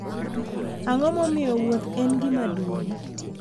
Ang’o momiyo wuoth ​​en gima duong’?